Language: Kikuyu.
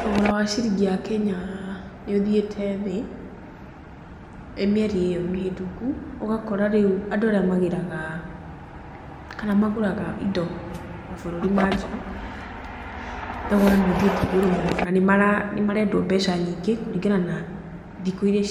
Thogora wa ciringi ya Kenya nĩ ũthiĩte thĩ mĩeri ĩyo mĩhĩtũku. Ũgakora rĩu andũ arĩa magĩraga kana magũraga indo mabũrũri manja, thogora nĩ ũthiĩte igũrũ mũno, nĩ marendwo meca nyingĩ kũringana na thikũ iria,